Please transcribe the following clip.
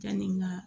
Yanni nka